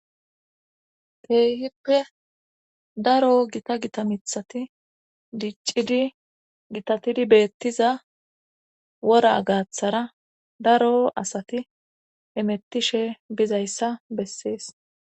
Kehippe daro gita gita mithati diccidi gitatidi beettiza wora gaaththara daro asati hemettishe bizayssa bessees